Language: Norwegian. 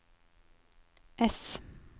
S